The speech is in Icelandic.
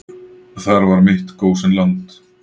Þar var mitt gósenland.